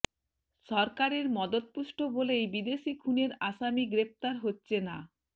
সরকারের মদদপুষ্ট বলেই বিদেশি খুনের আসামি গ্রেপ্তার হচ্ছে না